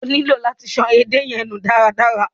O nílò láti ṣan edé yẹn nù dáadaa.